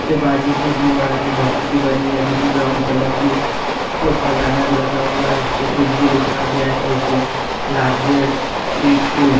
के बाजू में दीवार बॉक्स की बनी है जो कि ब्राउन कलर की उसके ऊपर बैनर लगा हुआ है। उस पे किडजी लिखा गया एशिया लार्जेस्ट प्रिस्कूल ।